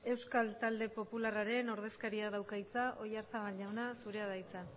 euskal talde popularraren ordezkariak dauka hitza oyarzabal jauna zurea da hitza